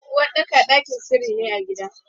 Uwaɗɗaka ɗakin sirri ne a gida.